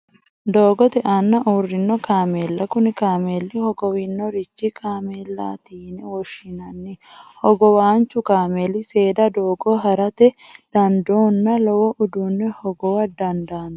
Doogotte aana uurino kaamella, kuni kaamelli hogowaancho kaamelati yine woshinanni hogowaanchu kaamelli seeda doogo harate dandoonna lowo uduune hogowa damdanno